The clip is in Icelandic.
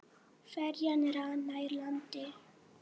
Ferjan rann nær landi.